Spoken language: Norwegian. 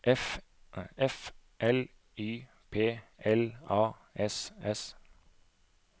F L Y P L A S S